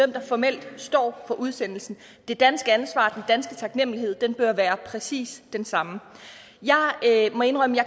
der formelt står for udsendelsen det danske ansvar den danske taknemlighed bør være præcis den samme jeg må indrømme at